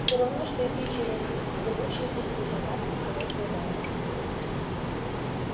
все равно что идти через зыбучие пески по карте столетней давности